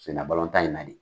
Sennabalɔntan in na de